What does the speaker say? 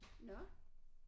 Nåh